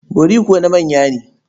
Bori kuwa na manya ne.